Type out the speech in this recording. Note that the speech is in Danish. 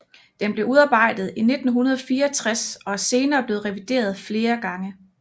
Den blev udarbejdet i 1964 og er senere blevet revideret flere gange